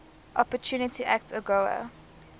opportunity act agoa